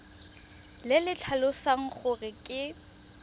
le le tlhalosang gore ke